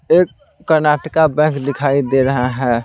एक कर्नाटका बैंक दिखाई दे रहा है।